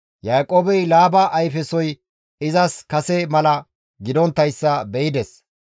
Yaaqoobey Laaba ayfesoy izas kase mala gidonttayssa be7ides.